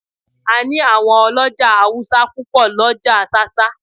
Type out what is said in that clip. A ní àwọn ọlọ́jà Awúsá púpò l'ọ́ja ṣáṣá